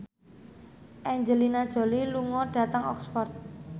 Angelina Jolie lunga dhateng Oxford